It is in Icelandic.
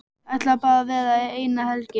Ætlaði bara að vera eina helgi.